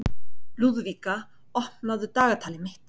Lúðvíka, opnaðu dagatalið mitt.